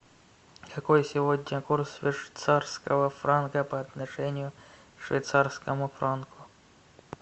какой сегодня курс швейцарского франка по отношению к швейцарскому франку